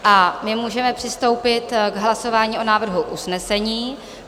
A my můžeme přistoupit k hlasování o návrhu usnesení.